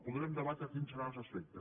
podrem debatre quins seran els aspectes